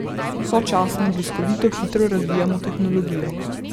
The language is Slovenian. Sočasno bliskovito hitro razvijamo tehnologijo.